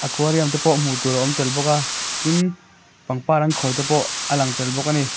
aquarium te pawh hmuh tur a awm tel bawk a tin pangpar an khawi te pawh a lang tel bawk ani.